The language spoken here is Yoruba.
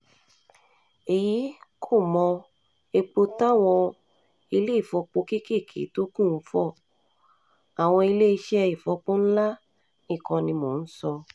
èyí kò mọ epo táwọn ilé-ìfọpo kéékèé tó kù ń fọ àwọn iléeṣẹ́ ìfọpo ńlá nìkan ni mò ń sọ